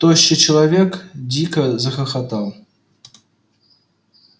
тощий человек дико захохотал